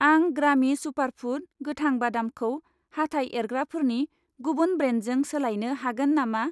आं ग्रामि सुपारफुड गोथां बादामखौ हाथाय एरग्राफोरनि गुबुन ब्रेन्डजों सोलायनो हागोन नामा?